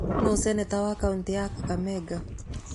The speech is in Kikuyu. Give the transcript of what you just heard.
Nũũ seneta wa kaũntĩ ya Kakamega?